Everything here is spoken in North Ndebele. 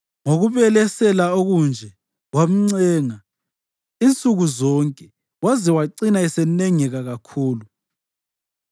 Ngokubelesela okunje wamncenga insuku zonke waze wacina esenengeka kakhulu.